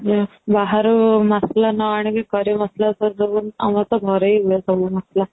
ବାହାରୁ ମସଲା ନ ଆଣି କି curry ମସଲା କରି ଦେବନି ଆମର ତ ଘରେ ହି ହୁଏ ସବୁ ମସଲା